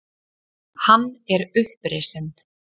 Hann er upprisinn.